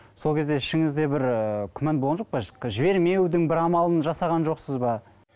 сол кезде ішіңізде бір ы күмән болған жоқ па жібермеудің бір амалын жасаған жоқсыз ба